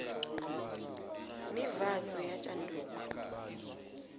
nivhadzo ya tshanduko